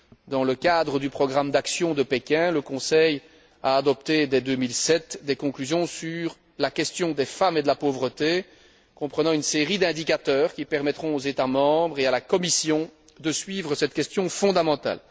Dans le cadre du programme d'action de Pékin, le Conseil a adopté, dès 2007, des conclusions sur la question des femmes et de la pauvreté, comprenant une série d'indicateurs qui permettront aux États membres et à la Commission de suivre cette question fondamentale.